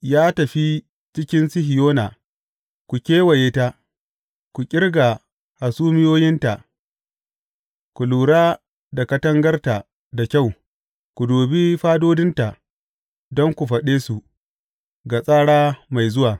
Yi tafiya cikin Sihiyona, ku kewaye ta, ku ƙirga hasumiyoyinta, ku lura da katangarta da kyau, ku dubi fadodinta, don ku faɗe su ga tsara mai zuwa.